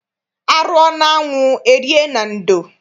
A rụọ n'anwụ e rie na ndo.